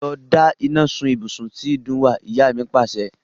Lọ da iná sun ibùsùn tí ìdun wà! Ìyá mi Pàṣẹ.